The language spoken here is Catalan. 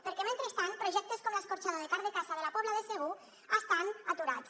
perquè mentrestant projectes com l’escorxador de carn de caça de la pobla de segur estan aturats